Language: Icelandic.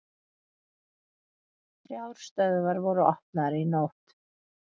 Þrjár stöðvar voru opnaðar í nótt